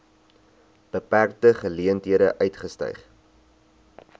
beperkte geleenthede uitgestyg